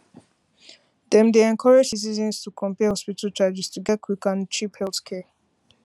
dem dey encourage citizens to compare hospital charges to get quick and cheap healthcare